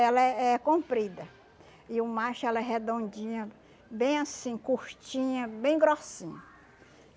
Ela é é comprida e o macho ela é redondinha, bem assim, curtinha, bem grossinha.